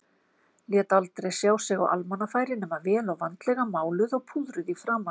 Lét aldrei sjá sig á almannafæri nema vel og vandlega máluð og púðruð í framan.